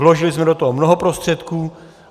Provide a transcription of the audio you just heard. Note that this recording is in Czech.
Vložili jsme do toho mnoho prostředků.